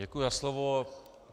Děkuji za slovo.